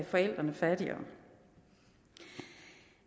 forældrene fattigere